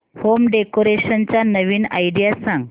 home decoration च्या नवीन idea सांग